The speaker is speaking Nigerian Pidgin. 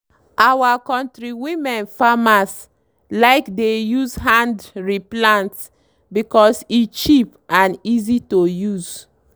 our knotri women farmers like dey use hand re plant because e cheap and easy to use.